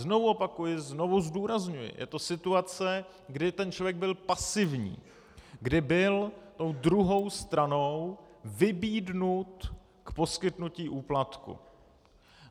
Znovu opakuji, znovu zdůrazňuji, je to situace, kdy ten člověk byl pasivní, kdy byl tou druhou stranou vybídnut k poskytnutí úplatku.